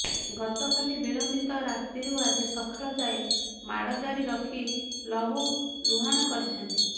ଗତକାଲି ବିଳମ୍ବିତ ରାତିରୁ ଆଜି ସକାଳ ଯାଏ ମାଡ଼ ଜାରି ରଖି ଲହୁଲୁହାଣ କରିଛନ୍ତି